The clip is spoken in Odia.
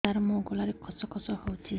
ସାର ମୋ ଗଳାରେ ଖସ ଖସ ହଉଚି